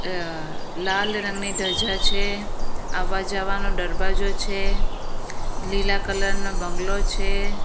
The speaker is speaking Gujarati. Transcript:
અ લાલ રંગની ઢજા છે આવવા જવાનો ડરવાજો છે લીલા કલર નો બંગલો છે.